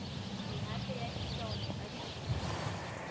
mehato ya taolo ka dikhemikhale